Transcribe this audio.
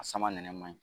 A sama nɛnɛ man ɲi